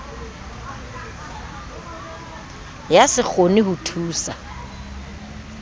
ya se kgone ho thusa